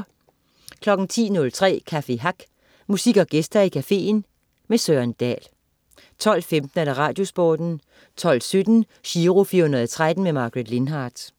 10.03 Café Hack. Musik og gæster i cafeen. Søren Dahl 12.15 Radiosporten 12.17 Giro 413. Margaret Lindhardt